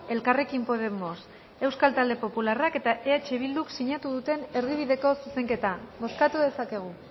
elkarrekin podemos euskal talde popularrak eta eh bilduk sinatu duten erdibideko zuzenketa bozkatu dezakegu